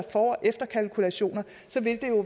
og efterkalkulationer vil det